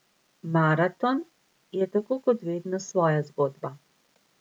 Maraton je tako kot vedno svoja zgodba.